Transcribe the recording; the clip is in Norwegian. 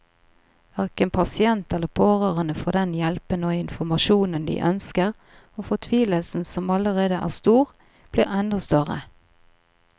Hverken pasient eller pårørende får den hjelpen og informasjonen de ønsker, og fortvilelsen som allerede er stor, blir enda større.